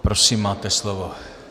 Prosím, máte slovo.